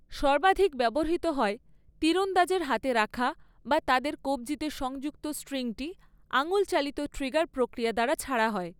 সর্বাধিক ব্যবহৃত হয়, তীরন্দাজের হাতে রাখা বা তাদের কব্জিতে সংযুক্ত স্ট্রিংটি আঙুল চালিত ট্রিগার প্রক্রিয়া দ্বারা ছাড়া হয়।